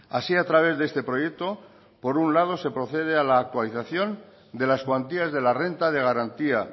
así a través de este proyecto por un lado se procede a la actualización de las cuantías de la renta de garantía